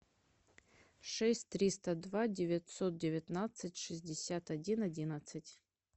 шесть триста два девятьсот девятнадцать шестьдесят один одиннадцать